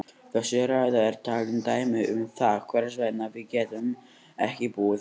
Þessi ræða er talandi dæmi um það hvers vegna við getum ekki búið saman.